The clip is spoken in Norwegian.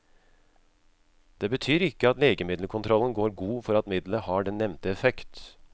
Det betyr ikke at legemiddelkontrollen går god for at middelet har den nevnte effekt.